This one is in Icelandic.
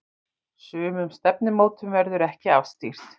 Sumum stefnumótum verður ekki afstýrt.